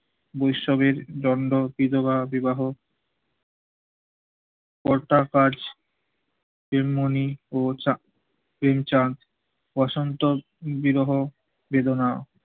বৈসবের দণ্ড বিধবা বিবাহ, পর্দা কাজ এর মনি ও চা, কিং চার বসন্ত বিরহ বেদনা